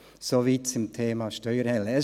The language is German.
Soviel zum Thema «Steuerhölle».